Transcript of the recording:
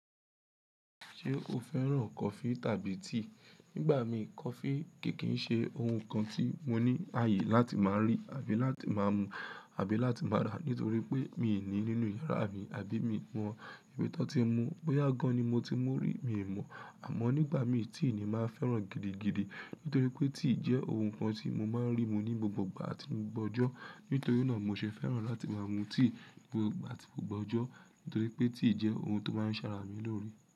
Ṣé o fẹ́ràn coffee tàbí tea? Nígbà mí coffee kìí ṣe ohun kan tí mo ní ààyè láti máa rí àbí láti máa mu àbí láti máa rà nítorí pé mi ò ní nínú yàrá mi àbí mi mọ ibi tó ti mu. Boya gan ni mo ti mú rí mi ò mọ̀. Àmọ́ nígbà mí tea ni má fẹ́ràn gidigidi nítorí pé tea jẹ́ ohun kan tí mo máa ń rí mú ní gbogbo ìgbà tí mo gbọ́jọ́. Nítorí náà mo ṣe fẹ́ràn láti máa mu tea nígbà tí mo gbọ́jọ́ nítorí pé tea jẹ́ ohun tó máa ń ṣàrà mí lóre.